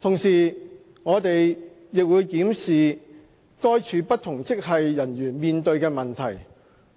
同時，我們亦會檢視該處不同職系人員面對的問題，